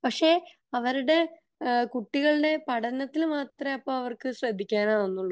ഏഹ്ഹ് അവരുടെ കുട്ടികളുടെ പഠനത്തിൽ മാത്രേ അവർക്ക് അപ്പോ ശ്രദ്ധിക്കാനാവുന്നുള്ളു